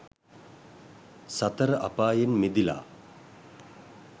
සතර අපායෙන් මිදිලා